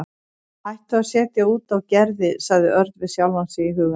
Hættu að setja út á Gerði sagði Örn við sjálfan sig í huganum.